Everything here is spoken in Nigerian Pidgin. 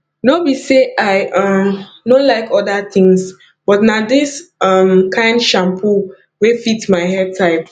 no be sey i um no like oda things but na dis um kind shampoo wey fit my hair type